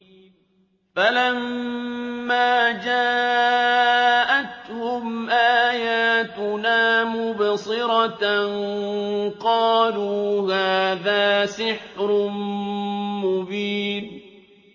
فَلَمَّا جَاءَتْهُمْ آيَاتُنَا مُبْصِرَةً قَالُوا هَٰذَا سِحْرٌ مُّبِينٌ